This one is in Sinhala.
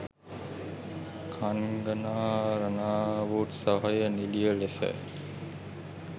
කන්ගනා රනාවුට් සහය නිළිය ලෙස